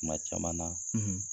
Kuma caman na